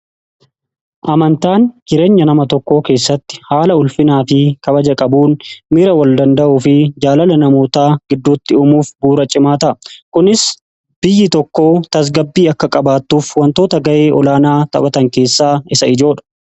amantaan jireenya nama tokko keessatti haala ulfinaa fi kabaja qabuun miira wal danda'uu fi jaalala namoota gidduutti uumuuf bu'ura cimaa ta'a kunis biyyi tokko tasgabbii akka qabaattuuf wantoota ga'ee olaanaa taphatan keessaa isa ijoodha.